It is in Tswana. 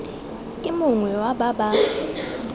ke mongwe wa ba ba